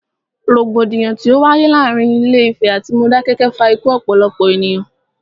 Rògbòdìyàn tí o wáyé láàárín Ilé Ìfẹ̀ atí Modákẹ́kẹ́ fa ikú ọ̀pọ̀lọpọ̀ ènìyàn.